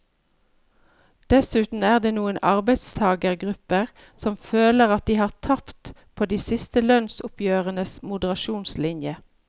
Dessuten er det noen arbeidstagergrupper som føler at de har tapt på de siste lønnsoppgjørenes moderasjonslinje.